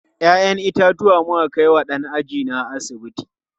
Ya'yan itatuwa muka kai wa ɗan ajina a asibiti.